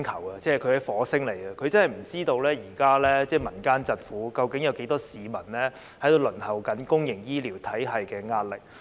他是來自火星的，他真的不知道現在民間疾苦，究竟有多少市民因為輪候公營醫療服務而承受壓力。